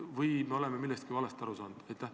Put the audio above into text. Või oleme me millestki valesti aru saanud?